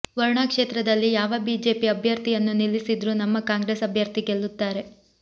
ವರುಣಾ ಕ್ಷೇತ್ರದಲ್ಲಿ ಯಾವ ಬಿಜೆಪಿ ಅಭ್ಯರ್ಥಿಯನ್ನೂ ನಿಲ್ಲಿಸಿದ್ರು ನಮ್ಮ ಕಾಂಗ್ರೆಸ್ ಅಭ್ಯರ್ಥಿ ಗೆಲ್ಲುತ್ತಾರೆ